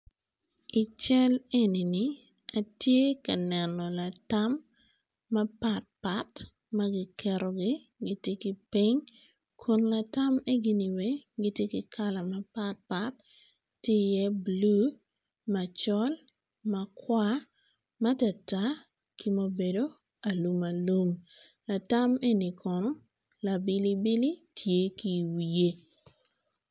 Ical enini atye ka neno latam mapatpat magiketogi tye kiping kum latam egini gitye ki kala mapat pat tye i ye blue macol makwar matartar ki ma obedo alum alum latam eni kono labilibili tye ki wiye.